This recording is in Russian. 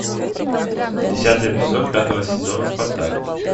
десятый эпизод пятого сезона спартак